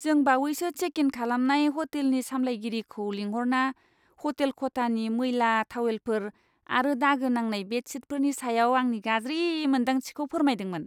जों बावैसो check in खालामनाय हटेलनि सामलायगिरिखौ लिंहरना हटेल खथानि मैला थावेलफोर आरो दागो नांनाय बेडशीटफोरनि सायाव आंनि गाज्रि मोन्दांथिखौ फोरमायदोंमोन ।